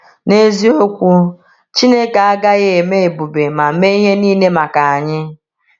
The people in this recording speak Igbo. N’eziokwu, Chineke agaghị eme ebube ma mee ihe niile maka anyị.